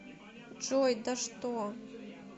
джой да что